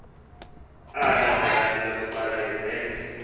alandela elokuqala izenzi